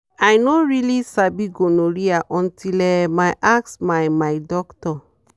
i no really sabi gonorrhea until um i ask my my doctor.